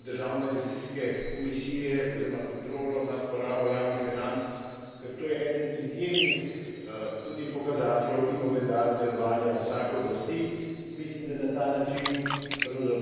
Pri tem bi pa posebej izpostavil vlogo državne revizijske komisije oziroma kontrolo nad porabo javnih financ, ker to je eden izjemnih tudi pokazateljev in ogledal delovanja vsake oblasti.